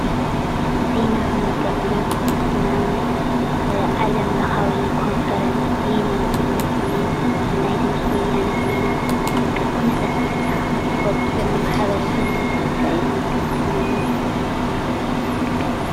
ዜና ክንብል ከለና ሕዚ ንኣብነት ዓለም ለኻዊ ኮንፈረንስ ዜና ዝግለጽ እንሄ ብናይ ድምፂ ወያነ ዜና በቃ ኩነታት ዓድካ እትፈልጠሉ ሓበሬታ ዝነግረካ እዩ ዜና ማለት፡፡